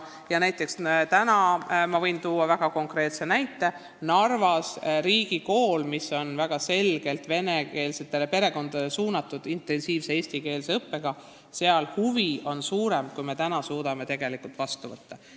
Ma võin täna tuua väga konkreetse näite: Narvas tegutseb riigikool, kus käib vene lastele suunatud intensiivne eesti keele õpe, ja huvi on suurem, kui sinna kooli täna suudetakse lapsi vastu võtta.